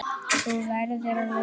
Þú verður að lofa!